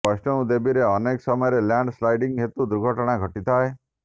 ବୈଷ୍ଣୌ ଦେବୀରେ ଅନେକ ସମୟରେ ଲ୍ୟାଣ୍ଡ ସ୍ଲାଇଡିଂ ହେତୁ ଦୁର୍ଘଟଣା ଘଟିଥାଏ